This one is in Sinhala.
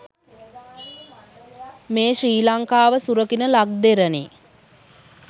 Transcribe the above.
මේ ශ්‍රී ලංකාව සුරකින ලක්දෙරණේ